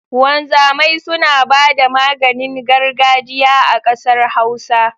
Wanzamai suna bada maganin gargajiya a ƙasar Hausa